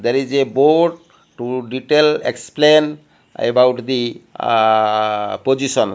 there is a boat to detail explain about the ah position.